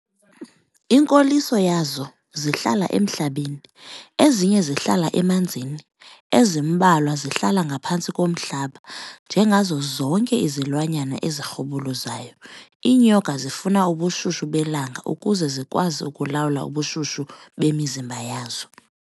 Inkoliso yazo zihlala emhlabeni, ezinye zihlala emanzini, ezimbalwa zihlala ngaphantsi komhlaba. Njengazo zonke izilwanyana ezirhubuluzayo, iinyoka zifuna ubushushu belanga ukuze zikwazi ukulawula ubushushu bemizimba yazo.